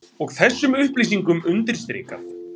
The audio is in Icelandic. Og þessum upplýsingum undirstrikað